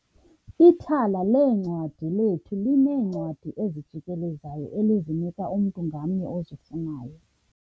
Ithala leencwadi lethu lineencwadi ezijikelezayo elizinika umntu ngamnye ozifunayo.